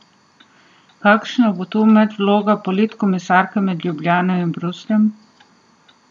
Kakšna bo tu medvloga politkomisarke med Ljubljano in Brusljem?